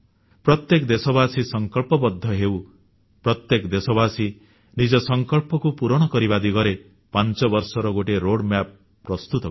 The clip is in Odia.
ପ୍ରତ୍ୟେକ ଦେଶବାସୀ ସଂକଳ୍ପବଦ୍ଧ ହେଉ ପ୍ରତ୍ୟେକ ଦେଶବାସୀ ନିଜ ସଂକଳ୍ପକୁ ପୂରଣ କରିବା ଦିଗରେ 5ବର୍ଷର ଗୋଟିଏ ମାର୍ଗଚିତ୍ର ବା ରୋଡମ୍ୟାପ୍ ପ୍ରସ୍ତୁତ କରନ୍ତୁ